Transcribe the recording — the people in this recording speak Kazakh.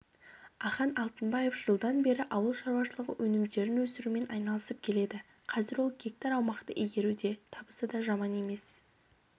ахан алтынбаев жылдан бері ауыл шаруашылығы өнімдерін өсіруімен айналысып келеді қазір ол гектар аумақты игеруде табысы да жаман емес